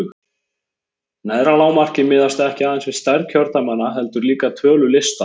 Neðra lágmarkið miðast ekki aðeins við stærð kjördæmanna heldur líka tölu lista.